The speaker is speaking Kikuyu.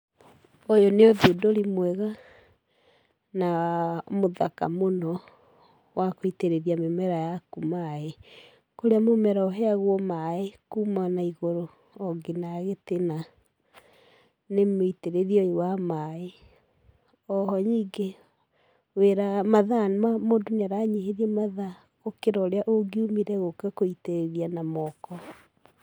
Ũyũ nĩ ũthundũri mwega na mũthaka mũno wa gũitĩrĩria mĩmera yaku maĩ. Kũrĩa mũmera ũheagwo maĩ kuma na igũrũ o nginya gĩtina nĩ mũitĩrĩrie ũyũ wa maĩ. O ho nyingĩ mathaa mũndũ nĩ aranyihĩrio gũkĩra ũrĩa ũngiumire gũka gũitĩrĩria na moko.